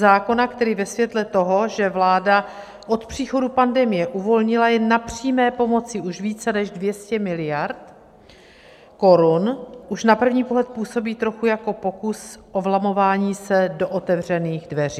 Zákona, který ve světle toho, že vláda od příchodu pandemie uvolnila jen na přímé pomoci už více než 200 miliard korun, už na první pohled působí trochu jako pokus o vlamování se do otevřených dveří.